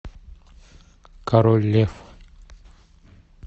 король лев